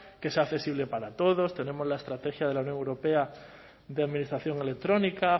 que sea accesible para todos tenemos la estrategia de la unión europea de administración electrónica